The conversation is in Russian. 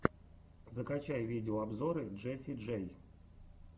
закачай видеообзоры джесси джей